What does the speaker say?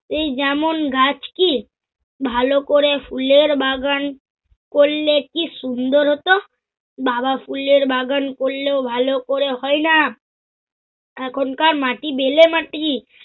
সেই যেমন গাছ কি! ভালো করে ফুলের বাগান করলে কি সুন্দর হত। বাবা ফুলের বাগান করলেও ভালো করে হয়না! এখনকার মাটি বেলেমাটি।